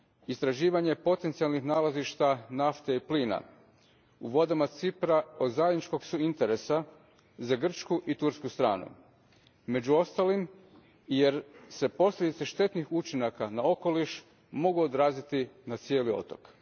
Istraživanja potencijalnih nalazišta nafte i plina u vodama Cipra od zajedničkog su interesa za grčku i tursku stranu, među ostalim, i jer se posljedice štetnih učinaka na okoliš mogu odraziti na cijeli otok.